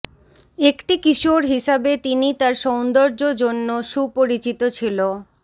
একটি কিশোর হিসাবে তিনি তার সৌন্দর্য জন্য সুপরিচিত ছিল